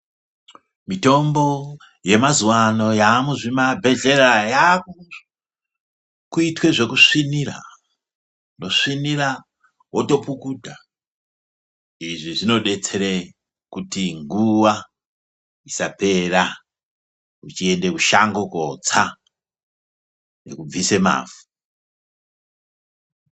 Mitombo yamazuvaano yamuzvimabhedhlera yakuitwe zvekusvinira, wosvinira wotopukuta. Izvi zvinodetsere kuti nguwa isapera uchienda kushango kootsa nekubvise mavhu.